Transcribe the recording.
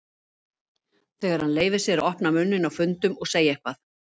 Þegar hann leyfir sér að opna munninn á fundum og segja eitthvað.